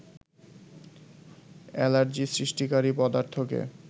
allergy সৃষ্টিকারী পদার্থকে